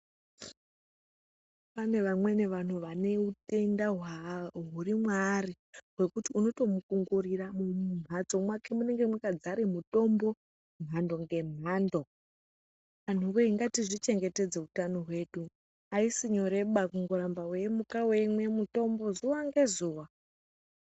Pane vamweni vantu vane utende huri mwaari zvekuti unotomukungurira ngekuti mumhatso make munenge makadzara mutombo mhando nemhando. Antuwe ngatizvichengetedze utano hwedu aisi nyoreba kuramba weimuka weimwa mutombo zuwa ngezuwa.